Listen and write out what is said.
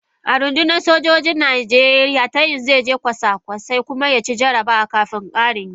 A rundunar sojojin saman Najeriya tayin zai je kwasa-kwasa kuma ya ci jarabawa kafin karin girma.